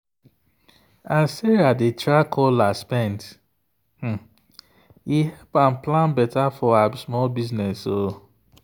as sarah dey track all her spend e help am plan better for her small business.